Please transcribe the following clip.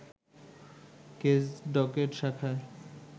case docket শাখায়